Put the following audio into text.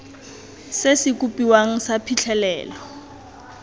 se se kopiwang sa phitlhelelo